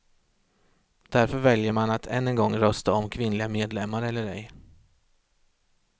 Därför väljer man att än en gång rösta om kvinnliga medlemmar eller ej.